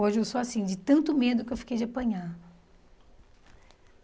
Hoje eu sou assim, de tanto medo que eu fiquei de apanhar.